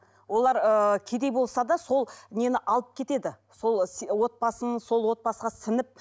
олар ы кедей болса да сол нені алып кетеді сол отбасын сол отбасыға сіңіп